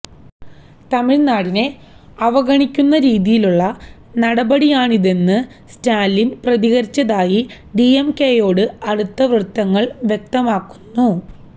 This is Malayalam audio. തമിഴ്നാടിനെ അവഗണിക്കുന്ന രീതിയിലുള്ള നടപടിയാണിതെന്ന് സ്റ്റാലിന് പ്രതികരിച്ചതായി ഡിഎംകെയോട് അടുത്ത വൃത്തങ്ങള് വ്യക്തമാക്കുന്നു